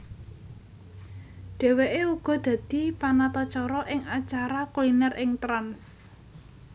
Dheweke uga dadi panatacara ing acara kuliner ing Trans